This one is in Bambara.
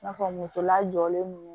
I n'a fɔ musolajɔlen ninnu